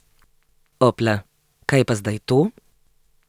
Opla, kaj je pa zdaj to?